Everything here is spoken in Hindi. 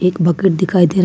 एक भगत दिखाई दे रहा है।